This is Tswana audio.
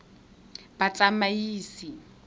batsamaisi